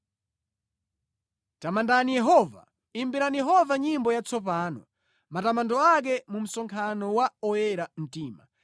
Tamandani Yehova. Imbirani Yehova nyimbo yatsopano, matamando ake mu msonkhano wa oyera mtima.